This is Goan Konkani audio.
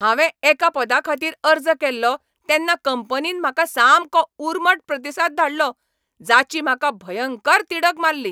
हांवें एका पदाखातीर अर्ज केल्लो तेन्ना कंपनीन म्हाका सामको उर्मट प्रतिसाद धाडलो जाची म्हाका भयंकर तिडक मारली .